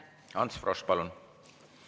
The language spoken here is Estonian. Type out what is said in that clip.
Ants Frosch, palun!